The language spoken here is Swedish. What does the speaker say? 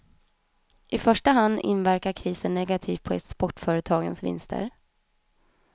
I första hand inverkar krisen negativt på exportföretagens vinster.